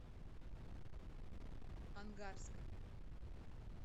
ангарска